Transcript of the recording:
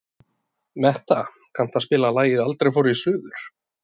Metta, kanntu að spila lagið „Aldrei fór ég suður“?